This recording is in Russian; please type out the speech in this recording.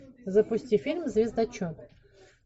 запусти фильм звездочет